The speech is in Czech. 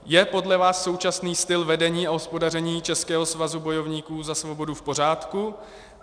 Je podle vás současný styl vedení a hospodaření Českého svazu bojovníků za svobodu v pořádku?